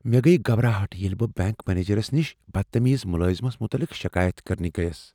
مےٚ گٔیۍ گبراہٹ ییٚلہ بہٕ بینٛک منیجرس نش بدتمیز ملٲزمس متعلق شکایت کرنہِ گٔیَس۔